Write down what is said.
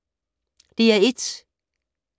DR1